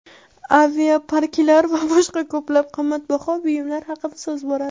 aviaparklar va boshqa ko‘plab qimmatbaho buyumlar haqida so‘z boradi.